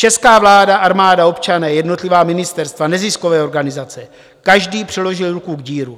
Česká vláda, armáda, občané, jednotlivá ministerstva, neziskové organizace - každý přiložil ruku k dílu.